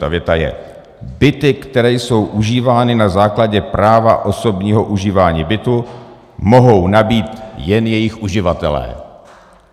Ta věta je: "Byty, které jsou užívány na základě práva osobního užívání bytu, mohou nabýt jen jejich uživatelé."